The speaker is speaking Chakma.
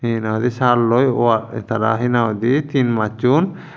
he nang hoidey salloi wa tara he nang hoidey tin masson.